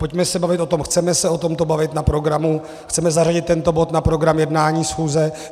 Pojďme se bavit o tom - chceme se o tom bavit na programu, chceme zařadit tento bod na program jednání schůze?